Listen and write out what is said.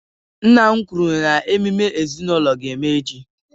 Nna m kwuru na emume ezinaụlọ ga-eme echi